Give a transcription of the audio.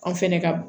An fɛnɛ ka